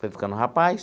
Foi ficando rapaz.